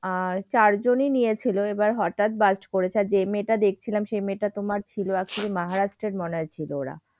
আহ চারজনই নিয়েছিল এবার হঠাৎ bust করেছে। আর যে মেয়েটা দেখেছিলাম সে মেয়েটা তোমার ছিল আসলে মহারাষ্ট্রের ছিল মনে হয় ওরা।